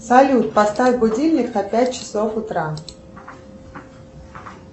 салют поставь будильник на пять часов утра